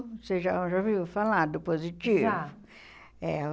Você já já ouviu falar do positivo? Já. É